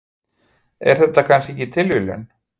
Er þetta kannski ekki tilviljun?